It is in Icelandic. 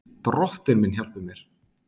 Drottinn minn hjálpi mér!